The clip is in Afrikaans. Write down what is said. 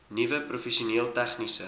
nuwe professioneel tegniese